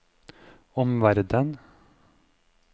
omverden